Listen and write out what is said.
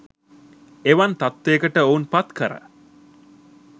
එවන් තත්ත්වයකට ඔවුන් පත් කර